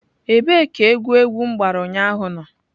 Ebee ka egwu egwu m gbara ụnyaahụ nọ?